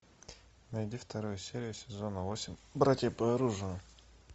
найди вторую серию сезона восемь братья по оружию